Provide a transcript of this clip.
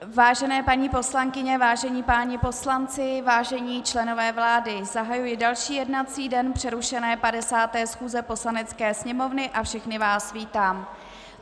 Vážené paní poslankyně, vážení páni poslanci, vážení členové vlády, zahajuji další jednací den přerušené 50. schůze Poslanecké sněmovny a všechny vás vítám.